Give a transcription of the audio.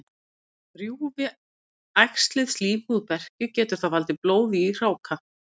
Rjúfi æxlið slímhúð berkju, getur það valdið blóði í hráka.